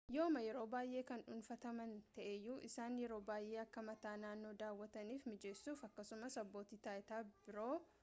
yooma yeroo baayee kan dhuunfataman ta'eeyyuu isaan yeroo baayee akka mataa naannoo daawwatanif mijeessuuf akkasumas abbootii taayitaa biroo